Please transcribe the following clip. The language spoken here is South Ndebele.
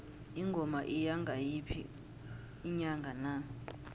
ingoma iya ngayiphi inyanga na